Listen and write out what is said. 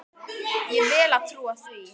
Ég vel að trúa því.